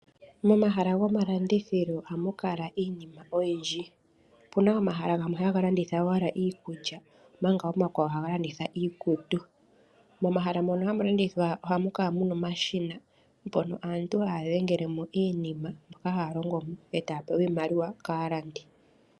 Momahala gomalandithilo ohamu kala iinima oyindji, opuna omahala gamwe haga landitha owala iikulya omanga omakwawo haga landitha iikutu. Momahala mono hamu landithwa ohamu kala muna omashina, mpono aantu haya dhengelemo iinima mboka haya longomo, e taya pewa iimaliwa kaalandi.